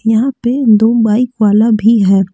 यहां पे दो बाइक वाला भी है।